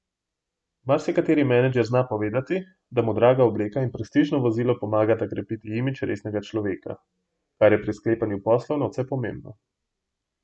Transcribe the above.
Marsikateri menedžer zna povedati, da mu draga obleka in prestižno vozilo pomagata krepiti imidž resnega človeka, kar je pri sklepanjih poslov nadvse pomembno.